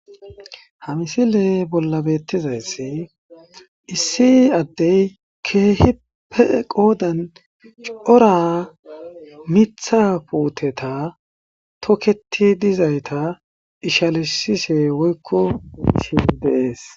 Ha misile bolla betizayisi issi adeyi kehippe qoddani corra mitha puteta toketi dizayissa ishalizishe woyiko